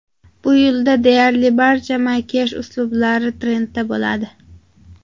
Bu yilda deyarli barcha makiyaj uslublari trendda bo‘ladi.